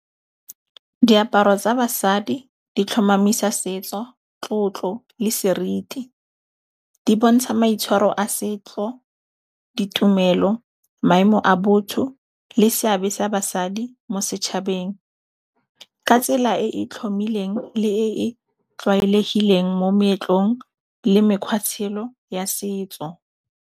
Diaparo tsa basadi, di tlhomamisa setso, tlotlo le seriti. Di bontsha maitshwaro a setlo, ditumelo, maemo a botho le seabe sa basadi mo setšhabeng. Ka tsela e e tlhomileng le e tlwaelegileng mo meetlong le mekgwa tshelo ya setso.